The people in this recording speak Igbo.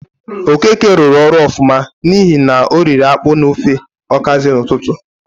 Okeke rụrụ ọrụ ọfụma n'ihi na oriri ákpú na ofe ọkazị n'ụtụtụ.